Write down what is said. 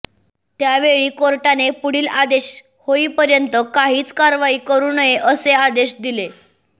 त्यावेळी कोर्टाने पुढील आदेश होईपर्यंत काहीच कारवाई करु नये असे आदेश दिले